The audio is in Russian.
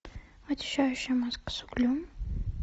очищающая маска с углем